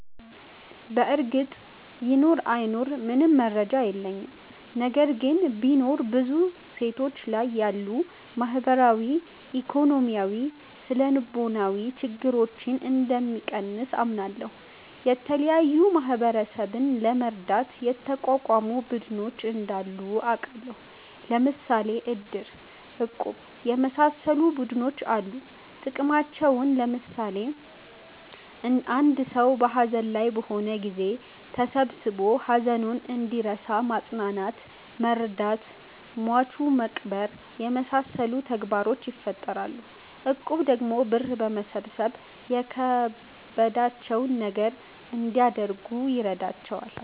በርግጥ ይኑር አይኑር ምንም መረጃ የለኝም። ነገር ግን ቢኖር ብዙ ሴቶች ላይ ያሉ ማህበራዊ፣ ኢኮኖሚያዊ፣ ስነልቦናዊ ችግረኞን እንደሚቀንስ አምናለሁ። የተለያዩ ማህበረሰብን ለመርዳት የተቋቋሙ ቡድኖች እንዳሉ አቃለሁ። ለምሣሌ እድር፣ እቁብ የመሣሠሉ ቡድኖች አሉ ጥቅማቸውም ለምሳሌ እድር ሠው ሀዘን ላይ በሆነ ጊዜ ተሠብስቦ ሀዘኑን እንዲረሣ ማፅናናት መርዳት ሟቹን መቅበር የመሣሠሉ ተግባሮችን ይፈፅማል። እቁብ ደግሞ ብር በማሠባሠብ የከበዳቸውን ነገር እንዲያደርጉበት ይረዳቸዋል።